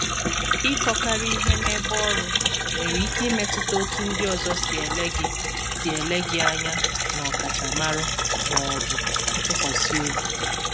Ịkọkarị ihe n’ebe ọrụ nwere ike imetụta otú ndị ọzọ si ele gị si ele gị anya n’ọkachamara ma ọ bụ ntụkwasị obi.